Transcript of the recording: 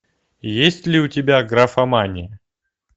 есть ли у тебя графомания